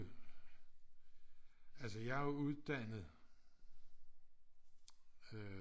Altså jeg er jo uddannet øh